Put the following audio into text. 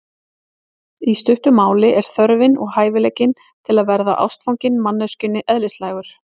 Í stuttu máli er þörfin og hæfileikinn til að verða ástfanginn manneskjunni eðlislægur.